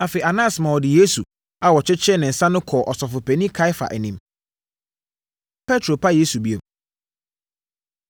Afei, Anas maa wɔde Yesu a wɔakyekyere ne nsa no kɔɔ Ɔsɔfopanin Kaiafa anim. Petro Pa Yesu Bio